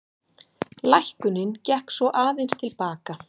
Lækkunin gekk svo aðeins til baka